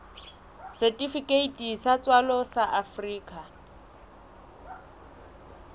setifikeiti sa tswalo sa afrika